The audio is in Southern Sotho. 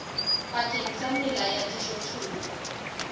pakeng tsa mela ya dijothollo